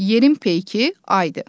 Yerin peyki Aydır.